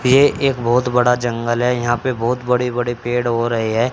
ये एक बोहोत बड़ा जंगल है यहां पे बोहोत बड़े बड़े पेड़ हो रे है।